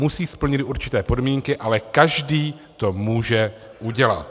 Musí splnit určité podmínky, ale každý to může udělat.